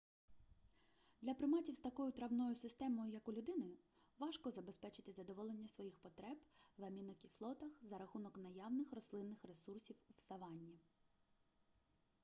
для приматів з такою травною системою як у людини важко забезпечити задоволення своїх потреб в амінокислотах за рахунок наявних рослинних ресурсів в савані